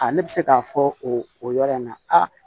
A ne bɛ se k'a fɔ o yɔrɔ in na aa